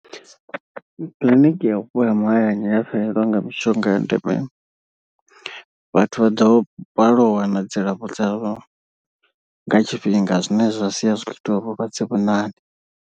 Kiḽiniki ya vhupo ha mahayani ya fhelelwa nga mishonga ya ndeme, vhathu vha ḓo balelwa u wana dzilafho dzavho nga tshifhinga zwine zwa sia zwi kho ita uri vhulwadze vhu ṋaṋe.